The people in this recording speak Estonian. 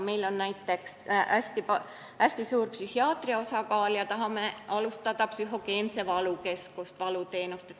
Meil on näiteks hästi suur psühhiaatria osakaal ja tahame alustada psühhogeense valukeskuse teenuste pakkumist.